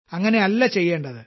അങ്ങനെ അല്ല ചെയ്യേണ്ടത്